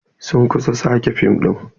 Sun kusa sake fim ɗin.